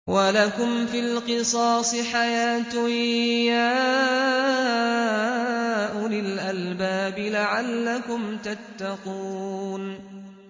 وَلَكُمْ فِي الْقِصَاصِ حَيَاةٌ يَا أُولِي الْأَلْبَابِ لَعَلَّكُمْ تَتَّقُونَ